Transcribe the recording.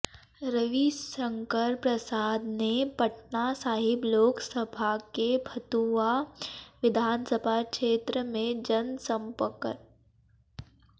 रविशंकर प्रसाद ने पटना साहिब लोकसभा के फतुहा विधानसभा क्षेत्र में जनसंपकर्